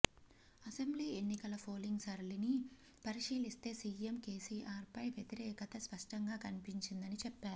assembly ఎన్నికల polling సరళిని పరిశీలిస్తే సీఎం కేసీఆర్పై వ్యతిరేకత స్ఫష్టంగా కనిపించిందని చెప్పారు